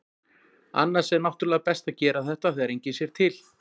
Annars er náttúrulega best að gera þetta þegar enginn sér til.